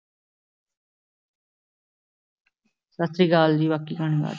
ਸਤਿ ਸ੍ਰੀ ਅਕਾਲ ਜੀ ਬਾਕੀ ਕਹਾਣੀ